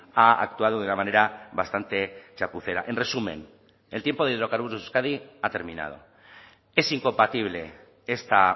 ha actuado de una manera bastante chapucera en resumen el tiempo de hidrocarburos de euskadi ha terminado es incompatible esta